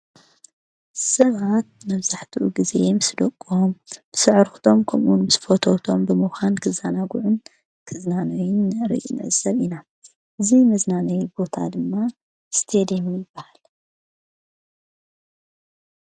ሰባት መብዛሓትኡ ግዜ ምስ ደቆምም ስዕርኽቶም ከምውን ምስ ፈተውቶም ብምዃን ክዛናጕዑን ክዝናኖይን ርኢ ንዕዘብ ኢና እዙይ መዝናነይ ቦታ ድማ ስቴድም ይበሃል።